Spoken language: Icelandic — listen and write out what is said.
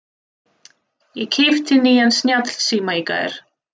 Ég keypti nýjan snjallsíma í gær.